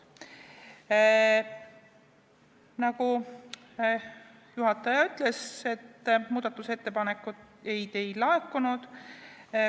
Nagu juhataja ütles, muudatusettepanekuid ei laekunud.